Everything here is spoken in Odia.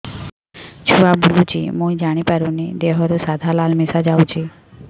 ଛୁଆ ବୁଲୁଚି ମୁଇ ଜାଣିପାରୁନି ଦେହରୁ ସାଧା ଲାଳ ମିଶା ଯାଉଚି